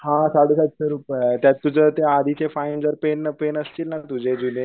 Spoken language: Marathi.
हा साडे सातशे रुपये आहे त्यात तुझं ते आधीच फाईन जर पे नसतील ना तुझे जुने